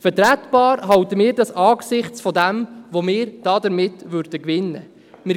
Vertretbar halten wir es angesichts dessen, was wir dabei gewinnen würden.